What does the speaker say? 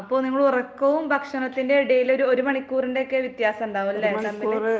അപ്പോ നിങ്ങള് ഉറക്കവും ഭക്ഷണത്തിന്റെയും ഇടയിൽ ഒരു മണിക്കൂറിന്റെയൊക്കെ വ്യത്യാസം ഉണ്ടാവുമല്ലേ ?